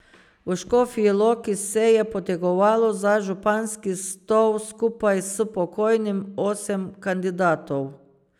V Škofji Loki se je potegovalo za županski stol skupaj s pokojnim osem kandidatov.